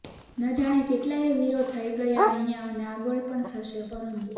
ન જાણે કેટલાયે વીરો થઈ ગયાં અહીંયા અને આગળ પણ થશે પરંતુ